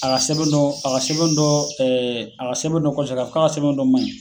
A ka sɛbɛn dɔ a ka sɛbɛn dɔ ɛɛ a ka sɛbɛn dɔ kɔseginna k'a ka sɛbɛn dɔ man ɲi